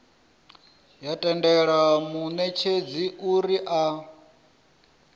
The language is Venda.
ya tendela munetshedzi uri a